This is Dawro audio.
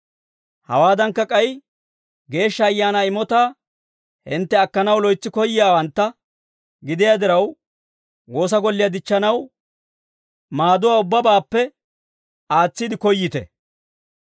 Hawaadankka, k'ay Geeshsha Ayaanaa imotaa hintte akkanaw loytsi koyyiyaawantta gidiyaa diraw, woosa golliyaa dichchanaw maaddawaa ubbabaappe aatsiide koyyite.